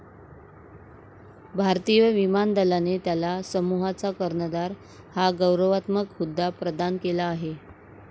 भारतीय विमान दलाने त्याला समूहाचा कर्णधार हा गौरवात्मक हुद्दा प्रदान केला आहे.